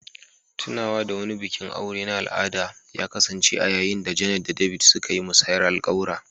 Tunawa da wani bikin aure na al'ada ya kasance a yayin da Jane da David suka yi musayar alƙawura.